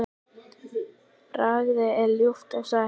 Bragðið er ljúft og sætt.